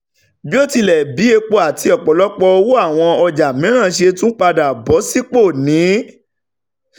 bíótilẹ bí epo àti ọ̀pọ̀lọpọ̀ owó àwọn ọjà mìíràn ṣe tún padà bọ̀ sípò ní